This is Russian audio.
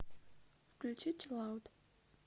включи чилаут